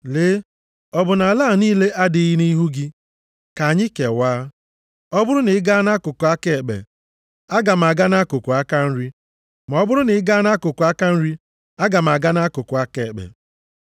Lee, ọ bụ na ala a niile adịghị nʼihu gị? Ka anyị kewaa. Ọ bụrụ na ị gaa nʼakụkụ aka ekpe, aga m aga nʼakụkụ aka nri. Ma ọ bụrụ na i gaa nʼakụkụ aka nri gị, aga m aga nʼakụkụ aka ekpe.”